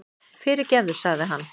Fyrirgefðu, sagði hann.